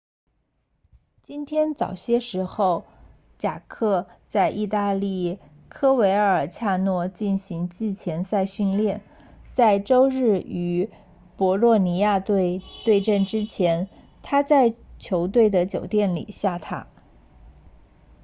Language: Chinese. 今天早些时候贾克 jarque 在意大利科维尔恰诺 coverciano 进行季前赛训练在周日与博洛尼亚队 bolonia 对阵之前他在球队的酒店里下榻